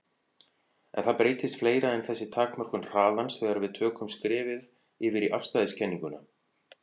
En það breytist fleira en þessi takmörkun hraðans þegar við tökum skrefið yfir í afstæðiskenninguna.